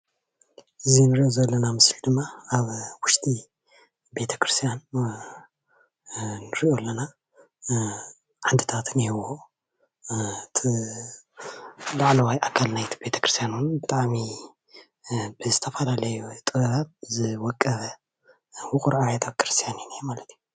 እዚ ንሪኦ ዘለና ምስሊ ድማ ኣብ ውሽጢ ቤተ ክርስትያን ንሪኦ ኣለና። ዓንድታት እንሄዎ ፣እቲ ላዕለዋይ ኣካል ናይቲ ቤተ ክርስትያን እውን ብጣዓሚ ብዝተፈላለዩ ጥበብ ዝወቀበ ውቑር ኣብያተ ክርስትያን እዩ እኔሀ ማለት እዩ።